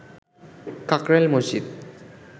Kakrail Masjid